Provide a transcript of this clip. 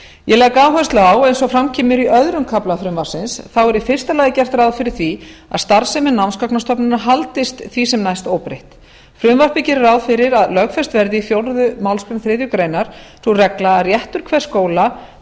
ég legg áherslu á eins og fram kemur í öðrum kafla frumvarpsins þá er í fyrsta lagi gert ráð fyrir því að starfsemi námsgagnastofnunar haldist því sem næst óbreytt frumvarpið gerir ráð fyrir að lögfest verði í fjórðu málsgrein þriðju grein sú regla að réttur hvers skóla